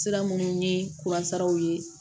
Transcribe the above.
Sira minnu ye ye